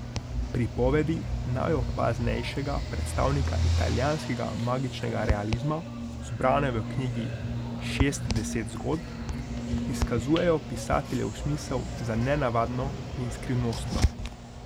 Pripovedi najopaznejšega predstavnika italijanskega magičnega realizma, zbrane v knjigi Šestdeset zgodb, izkazujejo pisateljev smisel za nenavadno in skrivnostno.